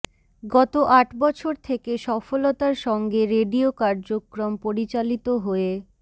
গত আট বছর থেকে সফলতার সঙ্গে রেডিও কার্যক্রম পরিচালিত হয়ে